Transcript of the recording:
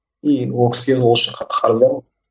и ол кісіге осы үшін қарыздармын